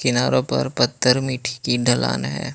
किनारों पर पत्थर मिट्टी की ढलान है।